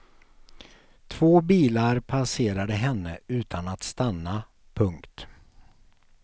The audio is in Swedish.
Två bilar passerade henne utan att stanna. punkt